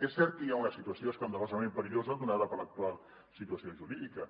és cert que hi ha una situació escandalosament perillosa donada per l’actual situació jurídica